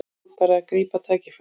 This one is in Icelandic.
Nú er bara að grípa tækifærið